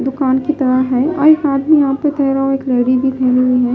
दुकान की तरह है और एक आदमी यहां पे तह रहा और एक लेडी भी है।